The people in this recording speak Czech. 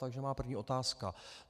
Takže má první otázka.